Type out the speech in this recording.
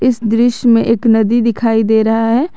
इस दृश्य में एक नदी दिखाई दे रहा है।